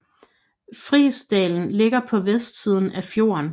Fiksdalen ligger på vestsiden af fjorden